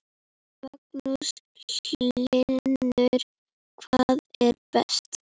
Magnús Hlynur: Hvað er best?